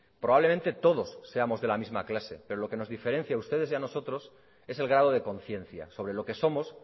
probablemente todos seamos de la misma clase pero lo que nos diferencia a ustedes y a nosotros es el grado de conciencia sobre lo que somos